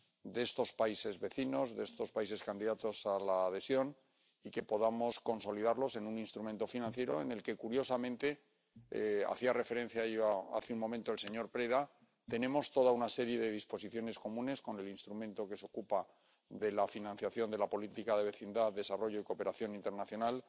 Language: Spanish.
de estos países vecinos, de estos países candidatos a la adhesión, y que podamos consolidarlos en un instrumento financiero en el que, curiosamente —hacía referencia a ello hace un momento el señor Preda—, tenemos toda una serie de disposiciones comunes con el instrumento que se ocupa de la financiación de la política de vecindad, desarrollo y cooperación internacional.